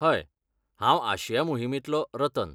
हय. हांव आशिया मोहिमेंतलो, रतन.